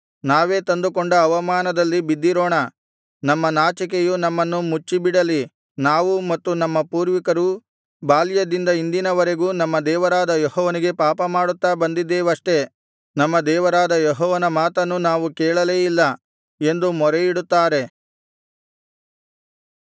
ನಾವೇ ತಂದುಕೊಂಡ ಅವಮಾನದಲ್ಲಿ ಬಿದ್ದಿರೋಣ ನಮ್ಮ ನಾಚಿಕೆಯು ನಮ್ಮನ್ನು ಮುಚ್ಚಿಬಿಡಲಿ ನಾವು ಮತ್ತು ನಮ್ಮ ಪೂರ್ವಿಕರೂ ಬಾಲ್ಯದಿಂದ ಇಂದಿನವರೆಗೂ ನಮ್ಮ ದೇವರಾದ ಯೆಹೋವನಿಗೆ ಪಾಪಮಾಡುತ್ತಾ ಬಂದಿದ್ದೇವಷ್ಟೆ ನಮ್ಮ ದೇವರಾದ ಯೆಹೋವನ ಮಾತನ್ನು ನಾವು ಕೇಳಲೇ ಇಲ್ಲ ಎಂದು ಮೊರೆಯಿಡುತ್ತಾರೆ